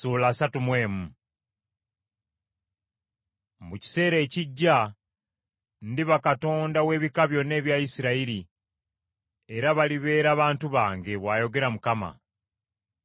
“Mu kiseera ekijja, ndiba Katonda w’ebika byonna ebya Isirayiri, era balibeera bantu bange,” bw’ayogera Mukama .